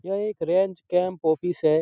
यह एक range camp office है।